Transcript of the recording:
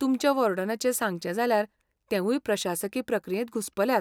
तुमच्या वॉर्डनाचें सांगचें जाल्यार तेवूय प्रशासकी प्रक्रियेंत घुस्पल्यात.